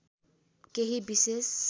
केही विशेष